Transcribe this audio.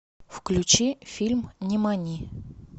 включи фильм нимани